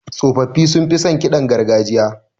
Tsofaffi sunfi son ƙidan gargajiya.